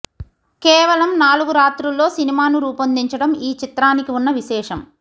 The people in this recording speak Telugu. కేవలం నాలుగు రాత్రుల్లో సినిమాను రూపొందించడం ఈ చిత్రానికి ఉన్న విశేషం